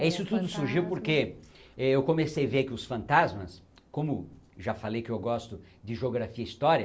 É isso tudo surgiu porque eu comecei a ver que os fantasmas, como já falei que eu gosto de geografia e história,